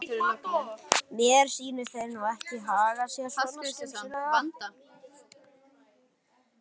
Mér sýnist þeir nú ekki haga sér svo skynsamlega.